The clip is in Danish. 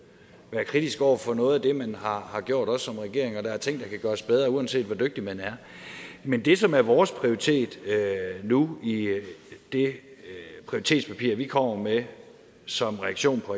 være kritisk over for noget af det man har har gjort også som regering og der er ting der kan gøres bedre uanset hvor dygtig man er men det som er vores prioritet nu i det prioriteringspapir vi kommer med som reaktion på